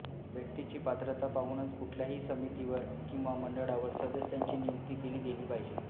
व्यक्तीची पात्रता पाहूनच कुठल्याही समितीवर किंवा मंडळावर सदस्यांची नियुक्ती केली गेली पाहिजे